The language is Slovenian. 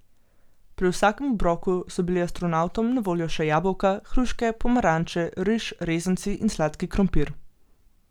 Pri vsakem obroku so bili astronavtom na voljo še jabolka, hruške, pomaranče, riž, rezanci in sladki krompir.